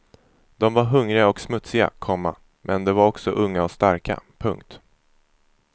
De var hungriga och smutsiga, komma men de var också unga och starka. punkt